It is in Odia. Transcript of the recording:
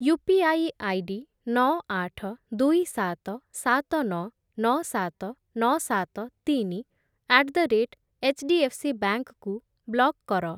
ୟୁପିଆଇ ଆଇଡି ନଅ, ଆଠ, ଦୁଇ, ସାତ, ସାତ, ନଅ, ନଅ, ସାତ, ନଅ, ସାତ, ତିନି ଆଟ୍ ଦ ରେଟ୍ ଏଚ୍‌ଡିଏଫ୍‌ସିବାଙ୍କ୍ କୁ ବ୍ଲକ୍ କର।